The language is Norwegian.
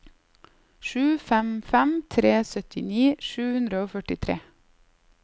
sju fem fem tre syttini sju hundre og førtitre